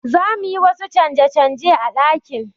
Za mu yi wasu canje-canje a ɗakin.